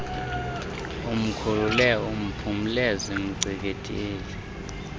umkhulule aphumle zimngcikivile